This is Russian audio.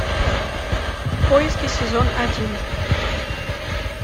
в поиске сезон один